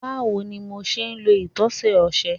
Bawo ni MO ṣe lo itọsẹ ọṣẹ